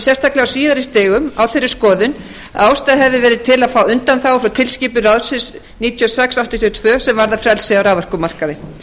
sérstaklega á síðari stigum á þeirri skoðun að ástæða hefði verið til að fá undanþágu frá tilskipun ráðsins níutíu og sex áttatíu og tvö sem varðar frelsi á raforkumarkaði